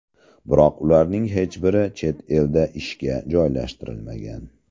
Biroq ularning hech biri chet elda ishga joylashtirilmagan.